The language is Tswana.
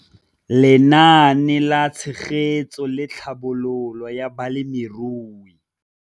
Lenaane la Tshegetso le Tlhabololo ya Balemirui.